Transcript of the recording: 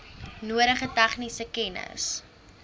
nodige tegniese kennis